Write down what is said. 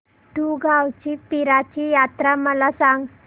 दुगावची पीराची यात्रा मला सांग